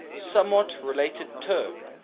somewhat related term